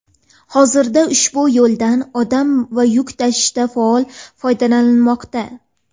Hozirda ushbu yo‘ldan odam va yuk tashishda faol foydalanilmoqda.